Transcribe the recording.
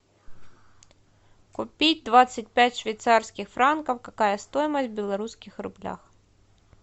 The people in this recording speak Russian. купить двадцать пять швейцарских франков какая стоимость в белорусских рублях